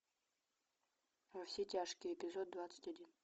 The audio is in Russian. во все тяжкие эпизод двадцать один